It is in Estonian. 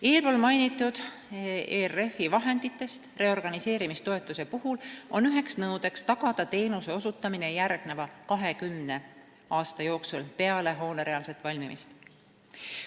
" Eespool mainitud ERF-i vahenditest reorganiseerimistoetuse puhul on üheks nõudeks tagada teenuse osutamine järgneva 20 aasta jooksul peale hoone reaalset valmimist.